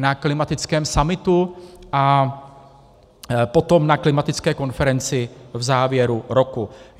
na klimatickém summitu a potom na klimatické konferenci v závěru roku.